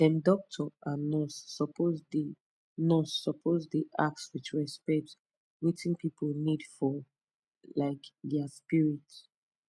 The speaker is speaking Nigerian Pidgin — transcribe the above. dem doctor and nurse suppose dey nurse suppose dey ask with respect wetin pipu need for um dia spirit